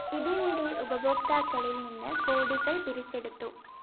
ഇതിനിടെ ഉപഭോക്താക്കളില്‍ നിന്ന് കോടികള്‍ പിരിച്ചെടുത്തു